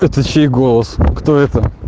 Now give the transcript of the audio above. это чей голос кто это